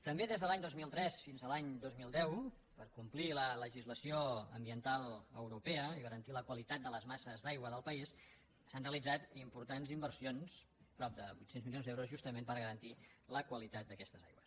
també des de l’any dos mil tres fins a l’any dos mil deu per complir la legislació ambiental europea i garantir la qualitat de les masses d’aigua del país s’han realitzat importants inversions de prop de vuit cents milions d’euros justament per garantir la qualitat d’aquestes aigües